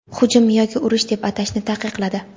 hujum yoki urush deb atashni taqiqladi.